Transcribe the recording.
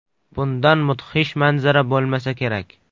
Bundan mudhish manzara bo‘lmasa kerak...